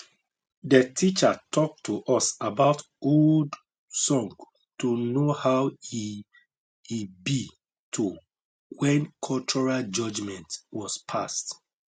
de teacher talk to us about old song to know how e e be to when cultural judgement was passed